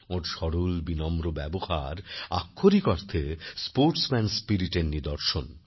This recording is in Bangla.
ওঁর সরল বিনম্র ব্যবহার আক্ষরিক অর্থে স্পোর্টসম্যান স্পিরিটএরনিদর্শন